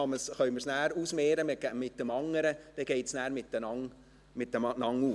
Dann können wir es nachher mit dem anderen ausmehren, dann geht es auf.